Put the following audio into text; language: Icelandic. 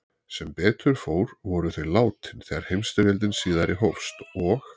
Sem betur fór voru þau látin þegar heimsstyrjöldin síðari hófst og